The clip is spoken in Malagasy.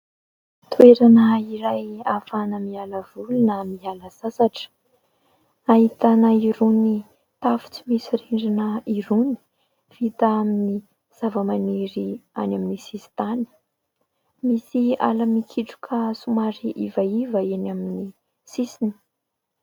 Toerana iray ahafahana mila voly na miala sasatra. Ahitana irony tafo tsy misy rindrina irony vita amin'ny zavamaniry any amin'ny sisin-tany. Misy ala mikitroka somary ivaiva eny amin'ny sisiny.